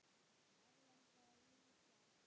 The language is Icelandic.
Erlenda víðsjá.